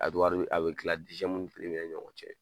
wari a bɛ kila ni ɲɔgɔn cɛ.